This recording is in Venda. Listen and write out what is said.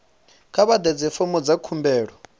kha vha ḓadze fomo dza khumbelo